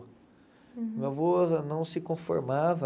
Meu avô não se conformava.